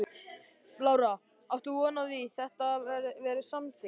Lára: Áttu von á því að þetta verði samþykkt?